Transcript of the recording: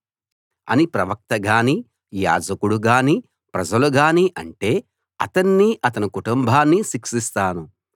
ఇదే యెహోవా సందేశం అని ప్రవక్త గానీ యాజకుడు గానీ ప్రజలు గానీ అంటే అతన్నీ అతని కుటుంబాన్నీ శిక్షిస్తాను